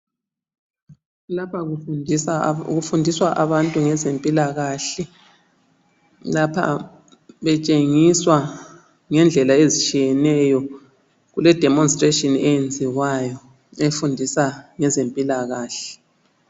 Lapha kufundiswa abantu ngezempilakahle. Lapha betshengiswa ngendlela ezitshiyeneyo. Kule demonstration eyenziwayo efundisa ngeze mpilakahle.